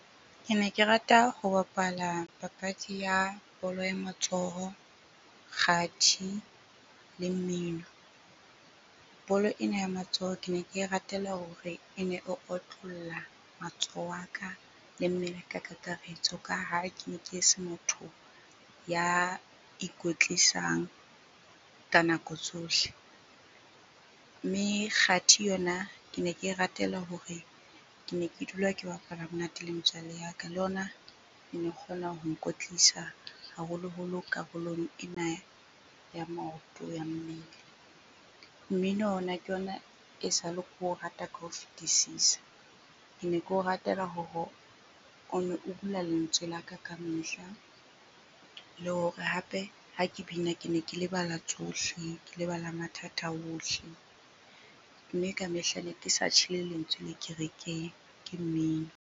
Ke ne ke rata ho bapala papadi ya bolo ya matsoho, kgathi le mmino. Bolo ena ya matsoho ke ne ke e ratela hore e ne e otlolla matsoho a ka le mmele ka kakaretso, ka ha ke ne ke se motho ya ikwetlisang ka nako tsohle. Mme kgathi yona, ke ne ke e ratela hore ke ne ke dula ke bapala monate le metswalle ya ka. Le yona keno kgona ho ikwetlisa haholoholo karolong ena ya maoto, ya mmele. Mmino ona ke yona e sale ke o rata ka o fetisisa. Ke ne ke o ratela hore ono o bula lentswe la ka kamehla le hore hape ha ke bina ke ne ke lebala tsohle, ke lebala mathata ohle. Mme kamehla neke sa tjhe le lentswe le kerekeng, ke mmino.